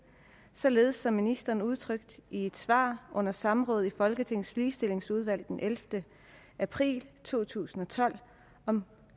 således som ministeren udtrykte det i et svar under samrådet i folketingets ligestillingsudvalg den ellevte april to tusind og tolv om